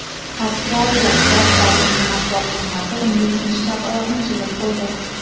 Avstraliya bosh vazirining matbuot xizmati unga ikkinchi chap oyoqni chizib qo‘ydi.